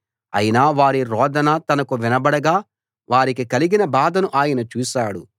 అయినా వారి రోదన తనకు వినబడగా వారికి కలిగిన బాధను ఆయన చూశాడు